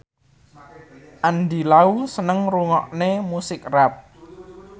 Andy Lau seneng ngrungokne musik rap